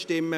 Ziff.